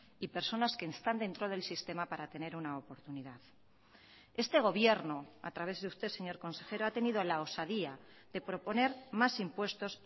y personas que están dentro del sistema para tener una oportunidad este gobierno a través de usted señor consejero ha tenido la osadía de proponer más impuestos